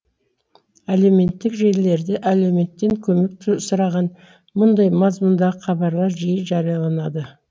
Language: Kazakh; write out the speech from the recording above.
әлеуметтік желілерде әлеуметтен көмек сұраған мұндай мазмұндағы хабарлар жиі жарияланады